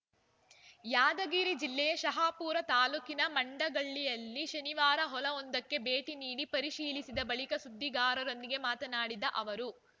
ಯಾದಗಿರಿ ಜಿಲ್ಲೆಯ ಶಹಾಪುರ ತಾಲೂಕಿನ ಮಂಡಗಳ್ಳಿಯಲ್ಲಿ ಶನಿವಾರ ಹೊಲವೊಂದಕ್ಕೆ ಭೇಟಿ ನೀಡಿ ಪರಿಶೀಲಿಸಿದ ಬಳಿಕ ಸುದ್ದಿಗಾರರೊಂದಿಗೆ ಮಾತನಾಡಿದ ಅವರು